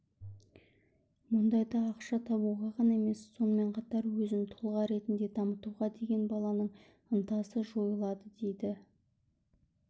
мұндайда ақша табуға ғана емес сонымен қатар өзін тұлға ретінде дамытуға деген баланың ынтасы жойылады дейді